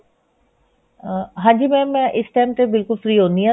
ah ਹਾਂਜੀ mam ਮੈਂ ਇਸ time ਤੇ ਬਿਲਕੁਲ free ਹੁਣੀ ਹਾਂ